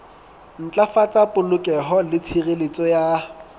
ntlafatsa polokeho le tshireletso ya